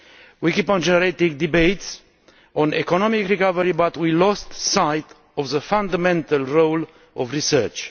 We keep on generating debates on economic recovery but we have lost sight of the fundamental role of research.